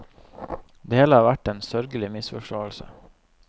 Det hele har vært en sørgelig misforståelse.